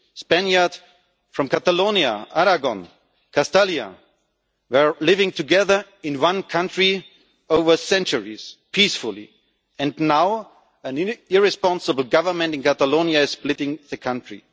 Spaniards from Catalonia, Aragon, Castilians, have been living together in one country over centuries peacefully and now an irresponsible government in Catalonia is splitting the country.